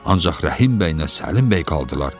Ancaq Rəhim bəy nə Səlim bəy qaldılar.